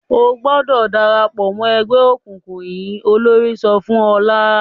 "O gbọdọ̀ dára pọ̀ mọ́ ẹgbẹ́ òkùnkùn yìí!" Olórí náà sọ fún Ọlá.